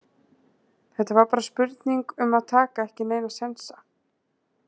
Þetta var bara spurning um að taka ekki neina sénsa.